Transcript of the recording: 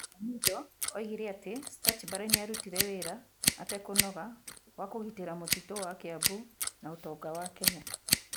Omido oigire atĩ Stuchburry nĩ aarutire wĩra a te kũnoga wa kũgitĩra mũtitũ wa Kiambu na utonga wa Kenya.